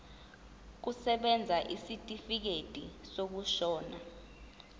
kusebenza isitifikedi sokushona